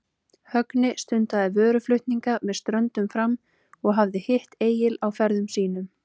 Högni stundaði vöruflutninga með ströndum fram og hafði hitt Egil á ferðum sínum.